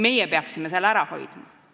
Meie peaksime selle ära hoidma.